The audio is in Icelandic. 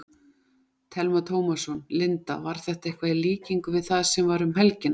Telma Tómasson: Linda, var þetta eitthvað í líkingu við það sem var um helgina?